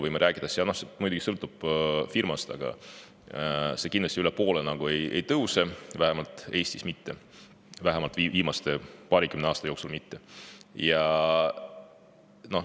See muidugi sõltub firmast, aga üle poole see kindlasti ei tõuse, vähemalt Eestis mitte, vähemalt viimase paarikümne aasta jooksul mitte.